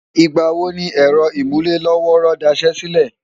ìgbà wo ni ẹ̀rọ ìmúlé-lọ́wọ́ọ́rọ́ daṣẹ́ sílẹ̀?